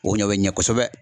O ɲɔ bɛ ɲɛ kosɛbɛ